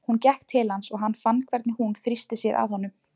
Hún gekk til hans og hann fann hvernig hún þrýsti sér að honum.